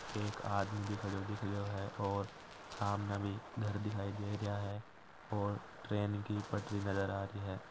एक आदमी भी खड़ो दिखरो है और सामने भी घर दिखाय दे रया है और एक ट्रेन की पटरी नजर अ-आ रही है।